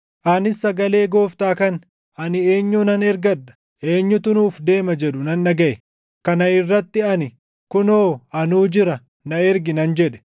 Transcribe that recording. Anis sagalee Gooftaa kan, “Ani eenyunan ergadha? Eenyutu nuuf deema?” jedhu nan dhagaʼe. Kana irratti ani, “Kunoo anuu jira. Na ergi!” nan jedhe.